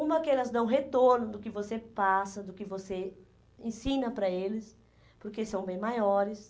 Uma, que elas dão retorno do que você passa, do que você ensina para eles, porque são bem maiores.